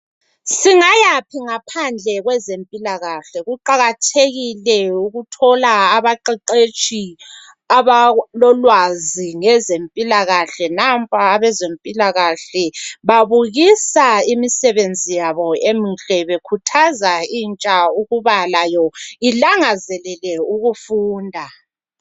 Singayaphi ngaphandle kwezempilakahle kuqakathekile ukuthola abaqeqetshi abalolwazi ngezempilakahle nampa abezempilakahle babukusa imisebenzi yabo emihle bekhuthaza intsha ukuba layo ilangazelele ukufunda.